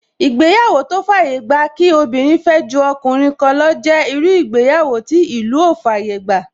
Ìgbéyàwó tó fàyè gba kí obìnrin fẹ́ ju ọkùnrin kan lọ jẹ́ irú ìgbéyàwó tí ìlú ò fàyè gbà